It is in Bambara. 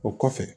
O kɔfɛ